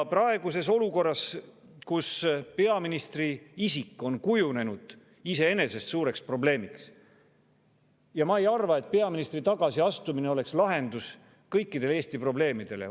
Praeguses olukorras, kus peaministri isik on kujunenud iseenesest suureks probleemiks, ma ei arva, et peaministri tagasiastumine oleks lahendus kõikidele Eesti probleemidele.